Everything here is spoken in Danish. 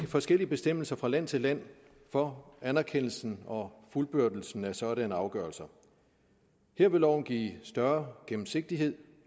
forskellige bestemmelser fra land til land for anerkendelsen og fuldbyrdelsen af sådanne afgørelser her vil loven give større gennemsigtighed